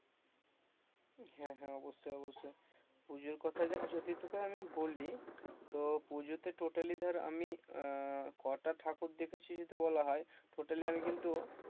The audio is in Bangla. হ্যাঁ হ্যাঁ হ্যাঁ অবশ্যই অবশ্যই পুজোর কথা দেখ যদি তোকে আমি বলি তো পুজোতে totally ধর আমি আহ কটা ঠকুর দেখেছি বলা হয় totally কিন্তু,